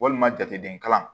Walima jateminɛw